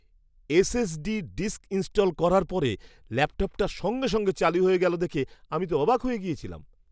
SSD disk install করার পরে ল্যাপটপটা সঙ্গে সঙ্গে চালু হয়ে গেল দেখে আমি তো অবাক হয়ে গেছিলাম।